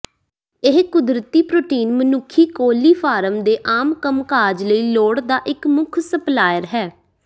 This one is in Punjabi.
ਇਹ ਕੁਦਰਤੀ ਪ੍ਰੋਟੀਨ ਮਨੁੱਖੀ ਕੋਲੀਫਾਰਮ ਦੇ ਆਮ ਕੰਮਕਾਜ ਲਈ ਲੋੜ ਦਾ ਇੱਕ ਮੁੱਖ ਸਪਲਾਇਰ ਹੈ